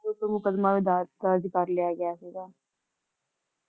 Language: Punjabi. ਤੇ ਫੇਰ ਓਹਨਾਂ ਤੇ ਮੁਕਦਮਾ ਵੀ ਦਰਜ ਦਰਜ ਕਰਲਿਆ ਗਿਆ ਸੀਗਾ